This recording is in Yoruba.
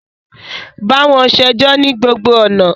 Bawọn ṣejọ ni gbogbo ọna!